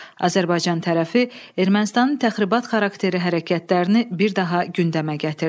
Azərbaycan tərəfi Ermənistanın təxribat xarakterli hərəkətlərini bir daha gündəmə gətirdi.